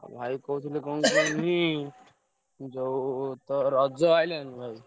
ଆଉ ଭାଇ କହୁଥିଲି କଣ କୁହନି ଯୋଉ ତ ରଜ ଆଇଲାଣି ଭାଇ।